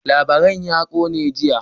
Labaran ya kone jiya.